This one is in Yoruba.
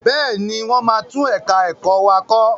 Bẹ́ẹ̀ni, wọ́n máa tún ẹ̀ka ẹ̀kọ́ wa kọ.